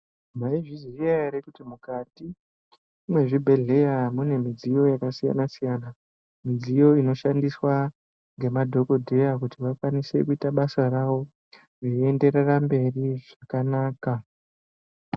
Mayizviziya ere kuti mukati mwezvibhedhleya mune midziyo yakasiyana-siyana, midziyo inoshandiswa ngemadhokodheya kuti vakwanise kuyita basa ravo veyienderera mberi zvakanaka.